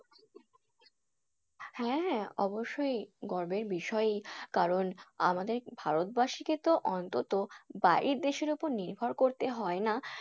হ্যাঁ হ্যাঁ অবশ্যই গর্বের বিষয় কারণ আমাদের ভারতবাসীকে অন্তত বাহির দেশের ওপর নির্ভর করতে হয় না।